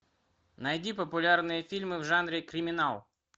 найди популярные фильмы в жанре криминал